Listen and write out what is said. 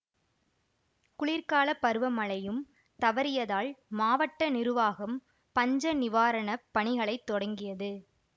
குளிர்காலப் பருவமழையும் தவறியதால் மாவட்ட நிருவாகம் பஞ்ச நிவாரண பணிகளைத் தொடங்கியது